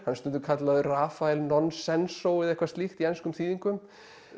er stundum kallaður Rafael Nonsenso eða eitthvað slíkt í enskum þýðingum